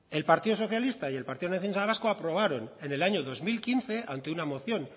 el partido socialista y el partido nacionalista vasco aprobaron en el año dos mil quince ante una moción